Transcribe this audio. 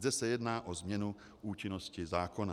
Zde se jedná o změnu účinnosti zákona.